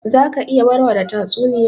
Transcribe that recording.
Za ka iya warware tatsuniya?